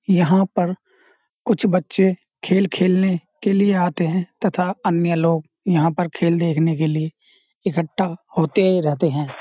यहाँ पर कुछ बच्चे खेल खेलने के लिए आते हैं तथा अन्य लोग यहाँ पर खेल देखने के लिए इकठ्ठा होते ही रहते हैं।